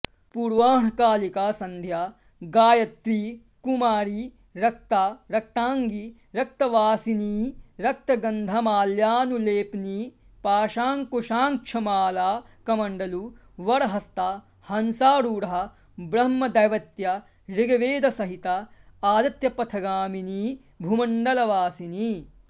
पूर्वाह्णकालिका सन्ध्या गायत्री कुमारी रक्ता रक्ताङ्गी रक्तवासिनीरक्तगन्धमाल्यानुलेपनी पाशाकुशाङ्क्षमालाकमण्डलुवरहस्ता हंसारूढा ब्रह्मदैवत्या ऋग्वेदसहिता आदित्यपथगामिनी भूमण्डलवासिनी